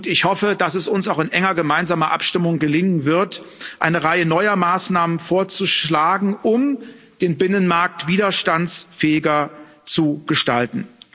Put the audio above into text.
Ich hoffe, dass es uns auch in enger gemeinsamer Abstimmung gelingen wird, eine Reihe neuer Maßnahmen vorzuschlagen, um den Binnenmarkt widerstandsfähiger zu gestalten.